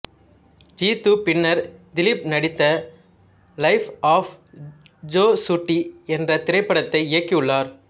ஜீது பின்னர் திலீப் நடித்த life of Josutty என்றத் திரைப்படத்தை இயக்கியுள்ளார்